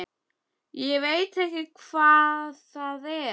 Ég veit ekki hvað það var.